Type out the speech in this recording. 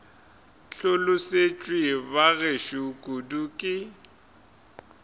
hlolosetšwe ba gešo kudu ke